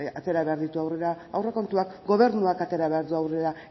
atera behar ditu aurrera aurrekontuak gobernuak atera behar du aurrera